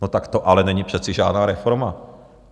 No tak to ale není přece žádná reforma.